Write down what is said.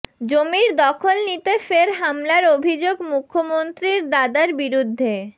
জমির দখল নিতে ফের হামলার অভিযোগ মুখ্যমন্ত্রীর দাদার বিরুদ্ধে